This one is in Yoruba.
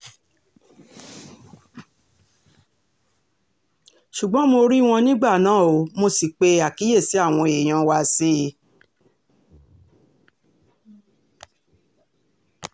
ṣùgbọ́n mo rí wọn nígbà náà ó mọ̀ sí pé àkíyèsí àwọn èèyàn wá sí i